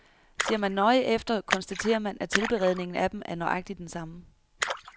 Ser man nøjere efter, konstaterer man, at tilberedningen af dem er nøjagtig den samme.